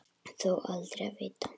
Þó aldrei að vita.